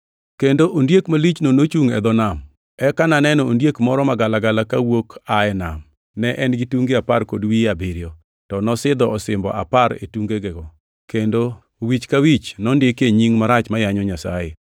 Kendo ondiek malichno nochungʼ e dho nam. Eka naneno ondiek moro magalagala kawuok aa e nam. Ne en gi tunge apar kod wiye abiriyo. To nosidho osimbo apar e tungenego, kendo wich ka wich nondikie nying marach ma yanyo Nyasaye.